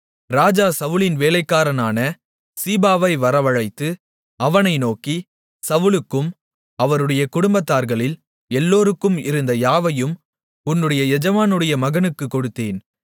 ராஜா சவுலின் வேலைக்காரனான சீபாவை வரவழைத்து அவனை நோக்கி சவுலுக்கும் அவருடைய குடும்பத்தார்களில் எல்லோருக்கும் இருந்த யாவையும் உன்னுடைய எஜமானுடைய மகனுக்குக் கொடுத்தேன்